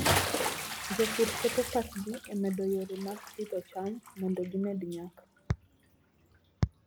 Jopur keto pachgi e medo yore mag pidho cham mondo gimed nyak.